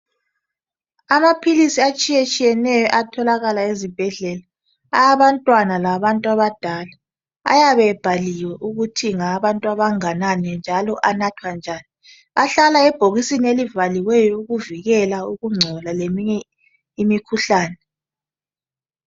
Amaphilisi atshiye tshiyeneyo ayatholakala ezibhedlela awabantwana lawa bantu abadala ayabe ebhaliwe ukuthi ngawabantu abanganani njalo anathwa njani ahlala ebhokisini elivaliweyo ukuvikela ukungcola leminye imikhuhlane.